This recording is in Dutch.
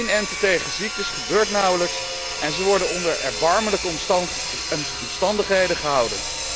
Inenten tegen ziektes gebeurt nauwelijks en zij worden onder erbarmelijke omstandigheden gehouden.